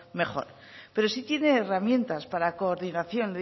mejor pero sí tienen herramientas para coordinación